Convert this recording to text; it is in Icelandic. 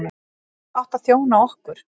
Þú átt að þjóna okkur.